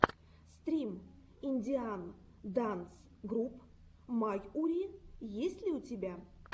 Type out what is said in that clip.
стрим индиан данс груп майури есть ли у тебя